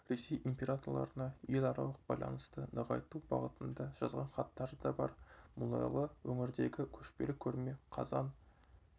ресей императорларына еларалық байланысты нығайту бағытында жазған хаттары да бар мұнайлы өңірдегі көшпелі көрме қазан